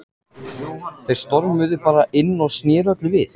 Þeir stormuðu bara inn og sneru öllu við.